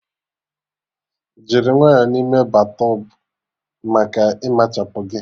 Jiri nwayọ n'ime battọbụ maka ịmachatu gị